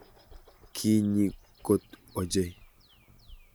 Kinyi kot ochei?